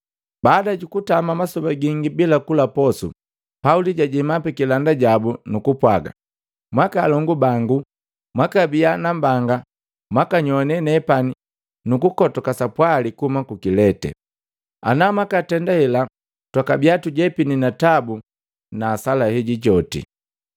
Baada jukutama masoba gingi bila kula posu, Pauli jajema pikilanda jabu, nuku pwaga, “Mwaaka alongu bangu, kwakabia nambanga mwakanyoane nepani nuku kotoka sapwali kuhuma ku Kilete. Ana mwaka tenda hela twakabia tujepini na tabu na hasala heji joti.